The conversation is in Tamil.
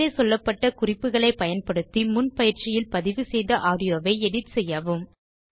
மேலே சொல்லப்பட்ட குறிப்புக்களைப் பயன்படுத்தி முன் பயிற்சியில் பதிவு செய்த ஆடியோவைத் எடிட் செய்யவும்